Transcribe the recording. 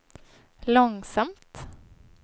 långsamt